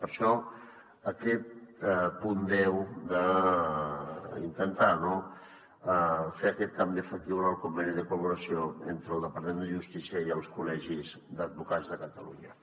per això aquest punt deu d’intentar fer aquest canvi efectiu en el conveni de col·laboració entre el departament de justícia i els col·legis d’advocats de catalunya